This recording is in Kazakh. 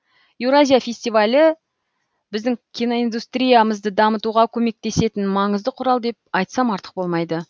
еуразия фестивалі біздің киноиндустриямызды дамытуға көмектесетін маңызды құрал деп айтсам артық болмайды